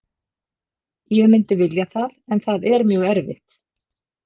Ég myndi vilja það en það er mjög erfitt.